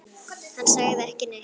Hann sagði ekki neitt.